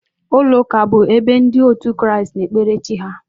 ụlọ ụka bụ ebe ndị otu Kraịst na-ekpere chi ha.